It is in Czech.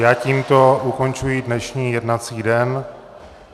Já tímto ukončuji dnešní jednací den.